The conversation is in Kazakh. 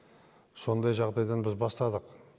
сондай жағдайдан біз бастадық